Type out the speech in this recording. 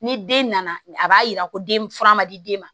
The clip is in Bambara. Ni den nana a b'a yira ko den fura ma di den ma